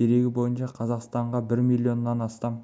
дерегі бойынша қазақстанға бір миллионнан астам